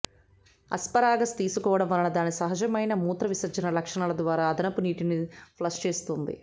asparagus తీసుకోవడం వలన దాని సహజమైన మూత్రవిసర్జన లక్షణాల ద్వారా అదనపు నీటిని ఫ్లష్ చేస్తుంది